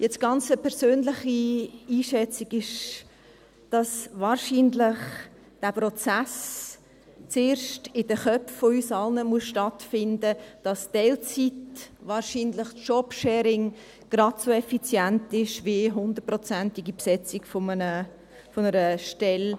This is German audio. Eine ganz persönliche Einschätzung ist, dass wahrscheinlich der Prozess zuerst in den Köpfen von uns allen stattfinden muss, dass Teilzeit, wahrscheinlich Jobsharing, gerade so effizient ist, wie die 100-prozentige Besetzung einer Stelle.